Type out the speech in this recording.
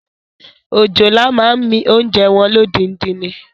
Òjòlá máa ń mi oúnjẹ wọn lódindi ni.